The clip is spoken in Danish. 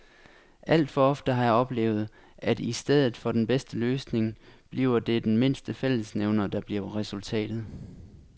Alt for ofte har jeg oplevet, at i stedet for den bedste løsning bliver det den mindste fællesnævner, der bliver resultatet.